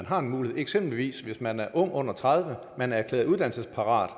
har en mulighed eksempelvis hvis man er ung og under tredive og man er erklæret uddannelsesparat